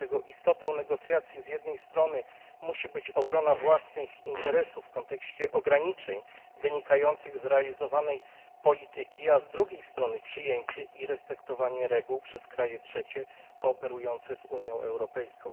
Dlatego istotę negocjacji musi z jednej strony stanowić obrona własnych interesów w kontekście ograniczeń wynikających z realizowanej polityki, a z drugiej strony przyjęcie i respektowanie reguł przez kraje trzecie kooperujące z Unią Europejską.